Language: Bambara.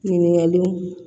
Ɲininkaliw